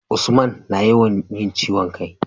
Usman na yawan yin ciwon kai